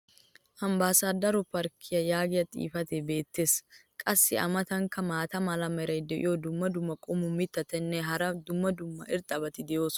"Ambaasador park" yaagiya xifatiya beetees. qassi a matankka maata mala meray diyo dumma dumma qommo mitattinne hara dumma dumma irxxabati de'oosona.